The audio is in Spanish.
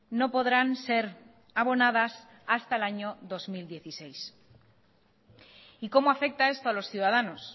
no podrán ser abonadas hasta el año dos mil dieciséis y cómo afecta esto a los ciudadanos